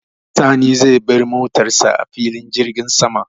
Sani zai bar motar sa a filin jirgin sama.